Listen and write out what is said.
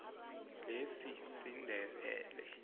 lesindebele